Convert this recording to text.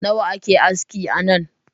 Nawa ake aski anan?.